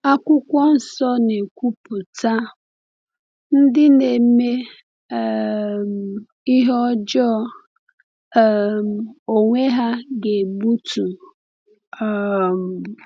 Akwụkwọ Nsọ na-ekwupụta: “Ndị na-eme um ihe ọjọọ um onwe ha ga-egbutu... um